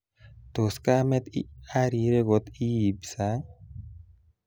Tos kamet arire kot ibi sang?